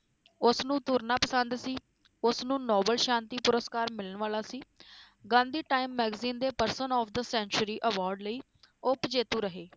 ਉਸ ਨੂੰ ਤੁਰਨਾ ਪਸੰਦ ਸੀ, ਉਸ ਨੂੰ novel ਸ਼ਾਂਤੀ ਪੁਰਸਕਾਰ ਮਿਲਣ ਵਾਲਾ ਸੀ ਗਾਂਧੀ time magazine ਦੇ person of the century award ਲਈ ਉੱਪ ਜੇਤੂ ਰਹੇ।